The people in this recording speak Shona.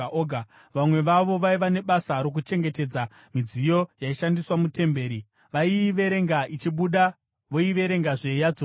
Vamwe vavo vaiva nebasa rokuchengetedza midziyo yaishandiswa muTemberi; vaiiverenga ichibuda voiverengazve yodzorerwa.